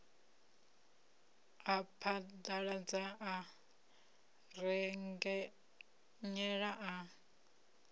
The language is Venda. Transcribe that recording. a phaḓaladza a rengenyela a